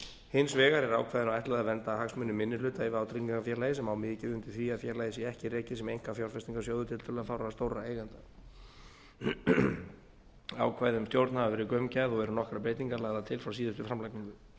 hins vegar er ákvæðinu ætlað að vernda hagsmuni minni hluta í vátryggingafélagi sem á mikið undir því að félagið sé ekki rekið sem einkafjárfestingasjóður tiltölulega fárra stórra eigenda ákvæði um stjórn hafa verið gaumgæfð og eru nokkrar breytingar lagðar til frá síðustu framlagningu